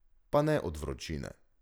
Pa ne od vročine.